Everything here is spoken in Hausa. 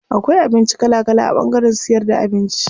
Akwai abinci kala kala a ɓangaren siyar da abinci.